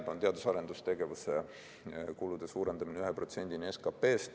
See on teadus- ja arendustegevuse kulude suurendamine 1%‑ni SKP-st.